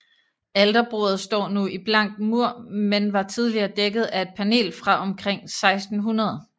Alterbordet står nu i blank mur men var tidligere dækket af et panel fra omkring 1600